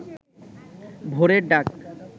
ভোরের ডাক